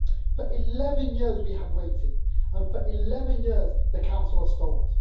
For 11 years we have waited, and for 11 years the Council has stalled.